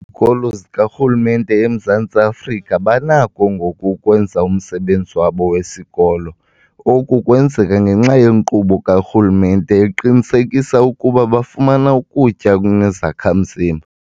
Kolo zikarhulumente eMzantsi Afrika banakho ngoku ukwenza umsebenzi wabo wesikolo. Oku kwenzeka ngenxa yenkqubo karhulumente eqinisekisa ukuba bafumana ukutya okunezakha-mzimba.